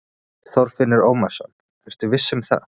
Þorfinnur Ómarsson: Ertu viss um það?